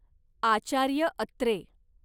Acharya Atre